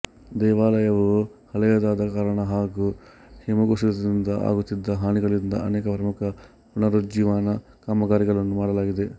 ದೇವಾಲಯವು ಹಳೆಯದಾದ ಕಾರಣ ಹಾಗೂ ಹಿಮಕುಸಿತದಿಂದ ಆಗುತ್ತಿದ್ದ ಹಾನಿಗಳಿಂದಾಗಿ ಅನೇಕ ಪ್ರಮುಖ ಪುನರುಜ್ಜೀವನ ಕಾಮಗಾರಿಗಳನ್ನು ಮಾಡಲಾಗಿದೆ